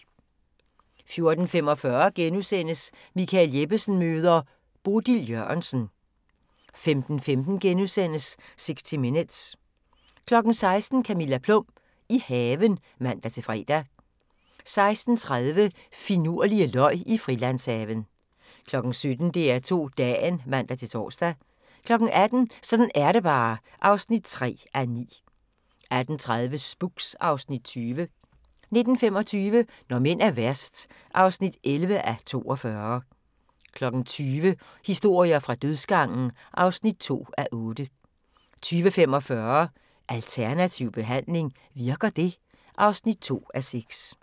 14:45: Michael Jeppesen møder ... Bodil Jørgensen * 15:15: 60 Minutes * 16:00: Camilla Plum – i haven (man-fre) 16:30: Finurlige løg Frilandshaven 17:00: DR2 Dagen (man-tor) 18:00: Sådan er det bare (3:9) 18:30: Spooks (Afs. 20) 19:25: Når mænd er værst (11:42) 20:00: Historier fra dødsgangen (2:8) 20:45: Alternativ behandling – virker det? (2:6)